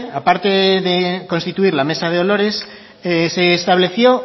a parte de constituir la mesa de olores se estableció